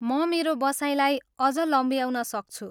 म मेरो बसाइलाई अझ लम्ब्याउन सक्छु।